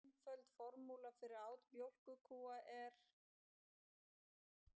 Einföld formúla fyrir át mjólkurkúa er: